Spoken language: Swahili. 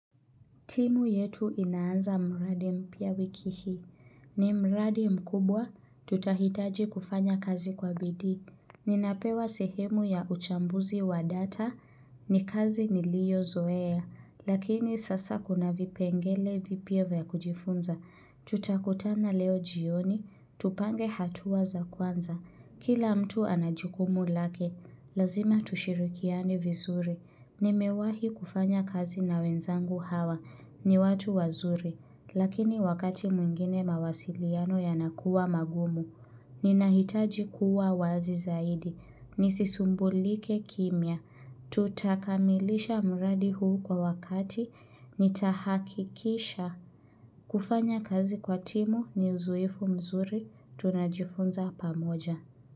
Timu yetu inaanza mradi mpya wiki hii. Ni mradi mkubwa, tutahitaji kufanya kazi kwa bidii. Ninapewa sehemu ya uchambuzi wa data, ni kazi niliyo zoea, lakini sasa kuna vipengele vipya vya kujifunza. Tutakutana leo jioni, tupange hatua za kwanza. Kila mtu anajukumu lake, lazima tushirikiane vizuri. Nimewahi kufanya kazi na wenzangu hawa ni watu wazuri, lakini wakati mwingine mawasiliano yanakuwa magumu. Ninahitaji kuwa wazi zaidi, nisisumbulike kimia. Tutakamilisha mradi huu kwa wakati, nitahakikisha. Kufanya kazi kwa timu ni uzoefu mzuri, tunajifunza pamoja.